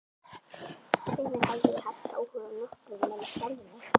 Hvenær hafði ég haft áhuga á nokkrum nema sjálfum mér?